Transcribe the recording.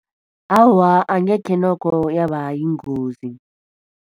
Awa, angekhe nokho yaba yingozi.